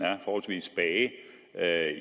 er